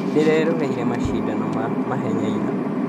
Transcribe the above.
Nĩndĩreroreire macindano ma mahenya ira